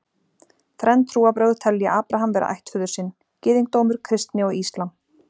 Þrenn trúarbrögð telja Abraham vera ættföður sinn: gyðingdómur, kristni og íslam.